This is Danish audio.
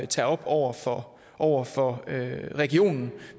tage op over for over for regionen